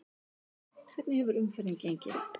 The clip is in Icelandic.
Hvernig hefur umferðin gengið?